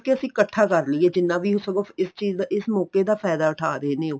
ਕੀ ਅਸੀਂ ਕੱਠਾ ਕਰ ਲਈਏ ਜਿੰਨਾ ਵੀ ਸਗੋ ਇਸ ਚੀਜ਼ ਦਾ ਇਸ ਮੋਕੇ ਦਾ ਫਾਇਦਾ ਉਠਾ ਰਹੇ ਨੇ ਉਹ